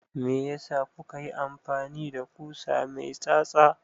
Meyasa kuka yi amfani da ƙusa mai tsatsa?